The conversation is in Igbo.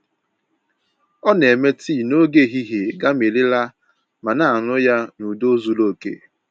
Ọ na-eme tii n'oge ehihie gamirila ma na-aṅụ ya n’udo zuru oke